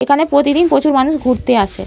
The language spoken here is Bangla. এখানে প্রতিদিন প্রচুর মানুষ ঘুরতে আসে।